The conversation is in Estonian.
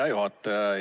Hea juhataja!